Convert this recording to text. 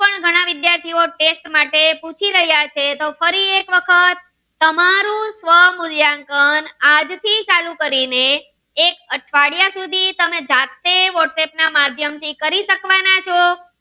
આગળ ના વિદ્યાર્થીઓ test માટે પૂછી રહ્યા છે તો ફરી એક વખત તમારું સ્વ મૂલ્યાંકન આજથી ચાલુ કરીને એક અઠવાડિયા સુધી તમે જાતે whatsapp ના માધ્યમ થી કરી શકવાના છો